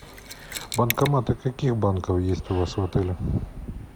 банкоматы каких банков есть у вас в отеле